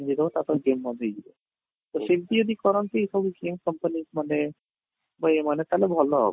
ଦେଇ ଦେବ ତା'ପରେ game ବନ୍ଦ ହେଇ ଯିବ ତ ସେମିତି ଯଦି କରନ୍ତି ସବୁ game company ମାନେ ତ ଏମାନେ ତାହେଲେ ଭଲ ହବ